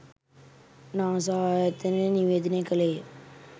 NASA ආයතනය නිවේදනය කළේය